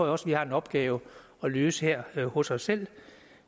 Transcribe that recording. også vi har en opgave at løse her hos os selv